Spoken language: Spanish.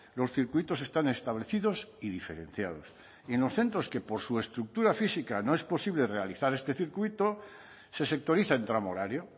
los circuitos están establecidos y diferenciados en los centros que por su estructura física no es posible realizar este circuito se sectoriza en tramo horario